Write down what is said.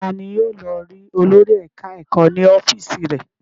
Ta ni yóò lọ rí olórí ẹ̀ka-ẹ̀kọ́ ní ọ́fíísì rẹ̀?